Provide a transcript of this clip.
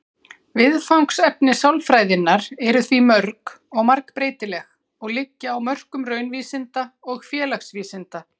Hvirfilbyljir myndast í mjög óstöðugu lofti, gjarnan í grennd við þrumuveður.